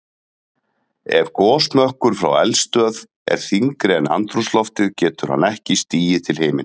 Ef gosmökkur frá eldstöð er þyngri en andrúmsloftið getur hann ekki stigið til himins.